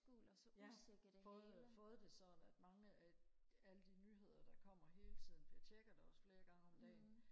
ja fået fået det sådan at mange af alle de nyheder der kommer hele tiden bliver tjekket også flere gange om dagen